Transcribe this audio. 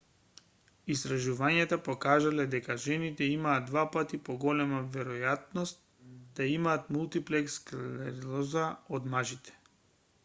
истражувањата покажале дека жените имаат два пати поголема веројатност да имаат мултиплекс склероза од мажите